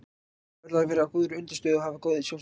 Hann verður að vera á góðri undirstöðu og hafa góð sjóntæki.